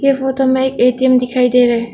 ये फोटो में एक ए_टी_एम दिखाई दे रहा है।